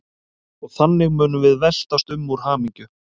Og þannig munum við veltast um úr hamingju.